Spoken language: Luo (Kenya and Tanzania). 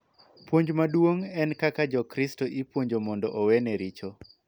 Puonj maduong� en kaka Jokristo ipuonjo mondo owene richo .